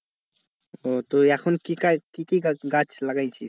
ও তো এখন কি কি কি গাছ লাগাইছিস?